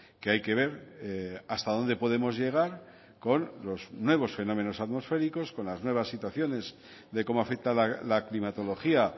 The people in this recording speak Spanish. que hay que ver hasta dónde podemos llegar con los nuevos fenómenos atmosféricos con las nuevas situaciones de cómo afecta la climatología